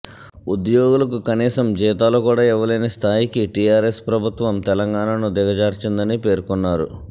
ఉద్యోగులకు కనీసం జీతాలు కూడా ఇవ్వలేని స్థాయికి టీఆర్ఎస్ ప్రభుత్వం తెలంగాణను దిగజార్చిందని పేర్కొన్నారు